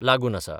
लागुन आसा.